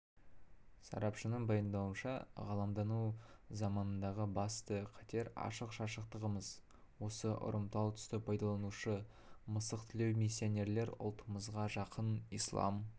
сарапшының пайымдауынша ғаламдану заманындағы басты қатер ашық-шашықтығымыз осы ұрымтал тұсты пайдаланушы мысықтілеу миссионерлер ұлтымызға жақын ислам